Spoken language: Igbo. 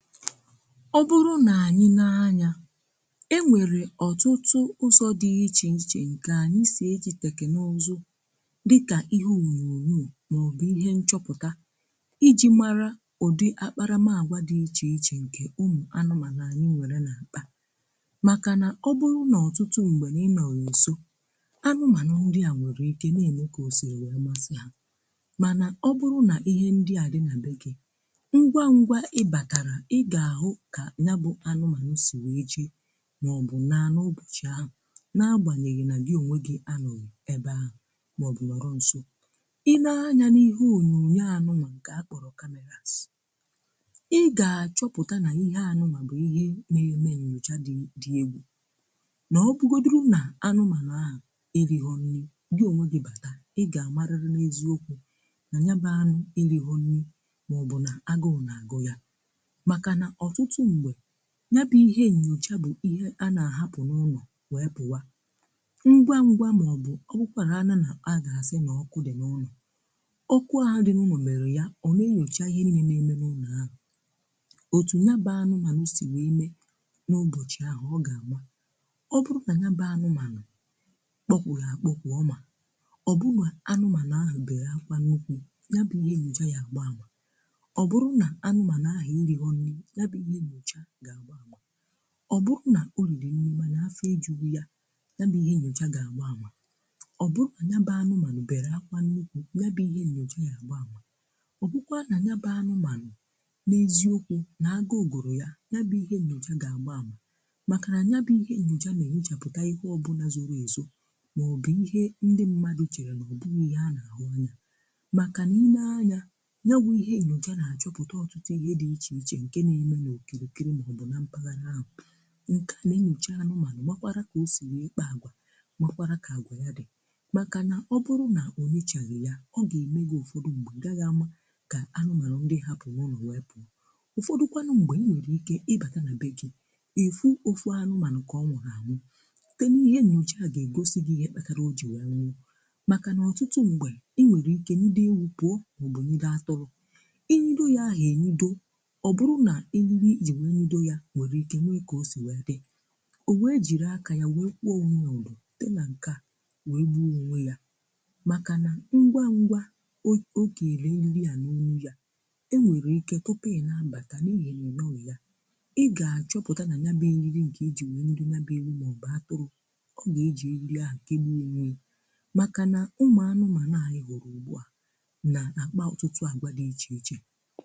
Ọ bụrụ na anyị nee anya e nwere ọtụtụ ụzọ dị iche iche nke anyị si eji tekinaụzụ dịkà ihe onyonyo maọbụ ihe nchọpụta iji mara ụdị akparamaagwa dị iche iche nke ụmụ anụmaanụ anyị nwere na akpà maka na ọ bụrụ n’ọtụtụ mgbe na ị nọghị nsọ anụmaanụ ndi a nwere ike na-eme ka o siri wee masị ha, mana ọ bụrụ na ihe ndị adị na bé gị ngwá ngwá ị bátárá i ga-ahụ ka nya bụ anụmanụ si wee jee maọbụ naa nụ ụbọchị ahụ na-agbanyeghị na gi onwe gị anọghị ebe ahụ maọbụ nọrọ nsọ. Ị́ nee anya n’ihe onyonyo anụ wa nke akpọrọ cameras, ị ga-achọpụta na ihe anụ wa bụ ihe na-eme nyocha dị dị egwu na ọ bụgodiri na anụmanụ ahụ erighọ nri gị onwe gị bata, ị ga-amariri n’eziokwu na nya bụ anụ erighọ nri maọbụ na agụụ na-agụ ya, maka nà ọtụtụ mgbe nyabụ̀ ihe nyocha bụ̀ ihe a na-ahapụ̀ n’ụlọ̀ wee pụwà ngwa ngwà ma ọ bụ̀ ọ bụkwara nà-agàsị na-ọkụ dị n’ụnọ,̀ ọkụ ahụ dị n’ụnọ̀ merie ya ọ na-enyochà ihe niine na-eme n’ụnọ̀ ahụ.̀ otù nyabà anụmanụ sì wee mee n’ụbọchị̀ ahụ̀ ọ ga-amà ọ bụrụ nà nyabà anụmanụ̀ kpọkwụrù akpọkwụ̀ ọmà, ọ bụrụ nà anụmanụ̀ ahụ̀ bere akwà nnukwù nyabụ̀ ihe nyocha yà agba amà, ọ bụrụ nà anụmanụ ahụ erighọ nri ya bụ ihe nyocha gà agba amà, ọ bụrụ na oriri nri manà afọ ejighi yà ya bụ ihe enyocha gà-àgba amà, ọ bụru na nya bụ anụmanụ bere akwà nnukwù nyabụ̀ihe nyocha ya agbà ama,̀ ọ bụkwa na nyaba anụmanụ̀ n’eziokwù nà aguu gùrù yà nyabụ ihe nyocha gà-àgba amà màkà na nyabụ̀ihe nyocha na-ènyochàpụtà ihe ọbụlà zòrò ezò maọ̀bụ̀ ihe ndị mmadụ chèrè nà ọ bụghị ihe a nà-àhụ anya màkà na-ene anyà nya bụ ihe nyocha na achọpụta ọtụtụ ihe dị iché iché nke na-emé na okirikiri ma ọ bụ na mpaghara ahụ,̀ nke a na enyocha anụmanụ̀ makwaara kà o si wee kpà àgwà makwaara kà àgwà yà dị, maka nà ọ bụrụ na ọ nyochaghi ya ọ ga-eme gi ụfọdụ mgbe ị gaghị amà ka anụmanụ̀ ndị i hapụrụ̀ n’ụnọ̀ wepù, ụfọdụkwanụ mgbe i nwere ike ịbata na be gì ifu ofu anụmanụ̀ ka ọnwụrụ anwụ site n’ihe nyocha ga-egosi gi ihe kpatara o ji wee nwụọ maka nà ọtụtụ mgbe i nwere ike nide ewu pụọ ọ bụnibe atụrụ i nido ya ahụ enyodo ọ bụrụ na eriri ijiri wee nido ya nwere ike nwee ka o si wee di o wee jiri aka ya wee kwuo onwe ya ụdọ site na ǹkà wee gbuo onwe ya maka na ngwa ngwa o ogeri eriri á na-ọṅụ ya e nwere ike tụpụ i na-abata n’ihi na ịnọọ ya ị ga-achọpụta na nya bụ eriri nke i ji wee nibe ya bụ ewu ma ọ bụ atụrụ ọ ga-eji eriri ahụ kegbuọ onwe ya maka na ụmụ anụmanụ anyị họrọ ugbu a na-akpa ọtụtụ agwa dị iche iche.